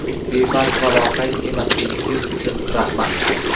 Befarq va loqayd emasligingiz uchun rahmat.